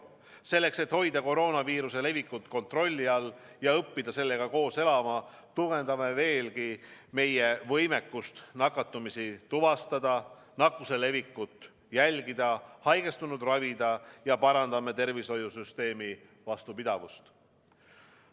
Selleks et hoida koroonaviiruse levikut kontrolli all ja õppida sellega koos elama, tugevdame veelgi meie võimekust nakatumisi tuvastada, nakkuse levikut jälgida, haigestunuid ravida ja parandame tervishoiusüsteemi vastupidavust.